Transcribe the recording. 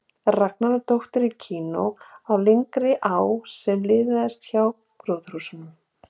Ragnari og dótturinni í kanó á lygnri á sem liðaðist hjá gróðurhúsunum.